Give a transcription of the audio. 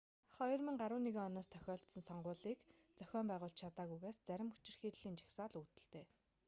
2011 оноос тохиолдсон сонгуулийг зохион байгуулж чадаагүйгээс зарим хүчирхийллийн жагсаал үүдэлтэй